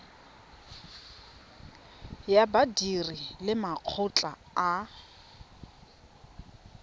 ya badiri le makgotla a